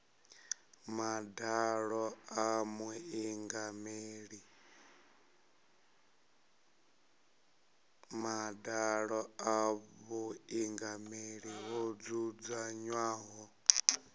madalo a vhuingameli ho dzudzanywaho